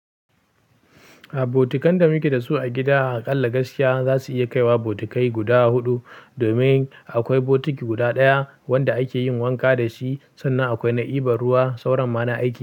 A botukan da muke da su a gida, a ƙalla gaskiya za su iya kaiwa botikai guda huɗu domin akwai botiki guda ɗaya wanda ake yin wanka da shi sannan akwai na ɗiba ruwa, sauran ma na aiki.